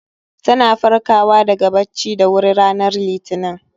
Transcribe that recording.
Ta na farkawa daga bacci da wuri ranar Litinin